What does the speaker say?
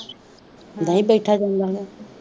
ਨਹੀਂ ਬੈਠਾ ਜਾਂਦਾ ਹੋਣਾ